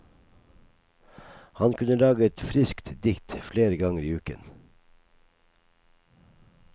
Han kunne lage et friskt dikt flere ganger i uken.